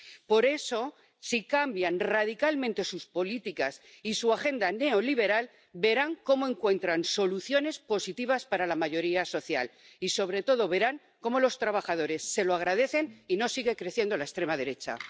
Por eso, si cambian radicalmente sus políticas y su agenda neoliberal, verán cómo encuentran soluciones positivas para la mayoría social y, sobre todo, verán cómo los trabajadores se lo agradecen y no sigue creciendo la extrema derecha.